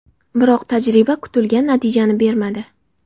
Biroq tajriba kutilgan natijani bermadi.